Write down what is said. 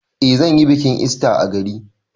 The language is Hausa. Eh zan yi bikin ista a gari.